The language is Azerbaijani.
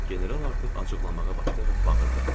General artıq acıqlanmağa başlayaraq bağırdı.